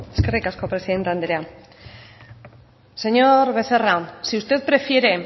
eskerrik asko presidente andrea señor becerra si usted prefiere